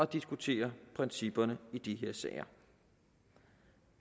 diskutere principperne i de her sager